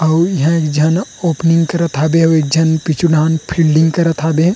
अउ इहा एक झन ओपनिंग करत हवे एक झन पीछू डहाण ले फील्डिंग करत हवे।